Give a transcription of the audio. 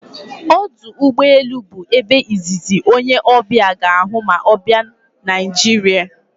Ọdụ ụgbọ elu bụ ebe izizi onye ọbịa ga-ahụ ma ọ bịạ Naịjiria